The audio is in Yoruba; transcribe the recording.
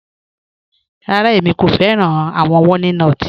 Rárá, ẹ̀mi kò fẹ̀ràn awọn wọ̀línotí